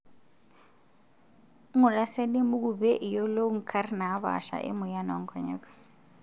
Ngura siadi embuku pee iyolou nkarna naapasha emoyian oonkonyek.